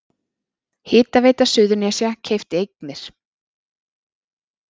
Hitaveita Suðurnesja keypti eignir